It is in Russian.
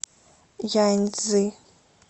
яньцзи